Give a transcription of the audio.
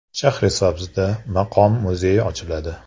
Shahrisabzda Maqom muzeyi ochiladi.